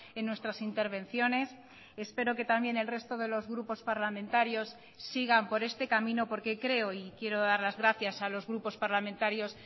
en nuestras intervenciones espero que también el resto de los grupos parlamentarios sigan por este camino porque creo y quiero dar las gracias a los grupos parlamentarios